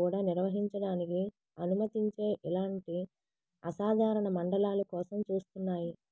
కూడా నిర్వహించడానికి అనుమతించే ఇలాంటి అసాధారణ మండలాలు కోసం చూస్తున్నాయి